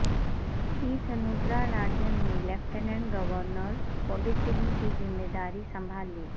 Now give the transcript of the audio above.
T Soundara Rajan نے lieutenant governor Puducherry کی ذمہ داری سنبھال لی